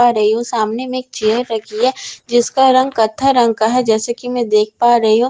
रही हु। सामने में एक चेयर रखी है जिसका रंग कथा रंग का है जैसे कि मैं देख पा रही हूं।